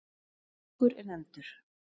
Kóngur er nefndur.